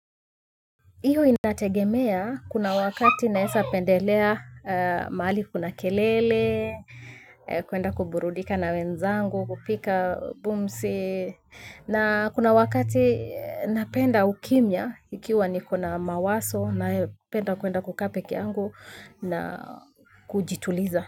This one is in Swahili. Hiyo inategemea kuna wakati naweza pendelea mahali kuna kelele, kwenda kuburudika na wenzangu, kupika bumsi, na kuna wakati napenda ukimya ikiwa niko na mawazo napenda kwenda kukaa peke yangu na kujituliza.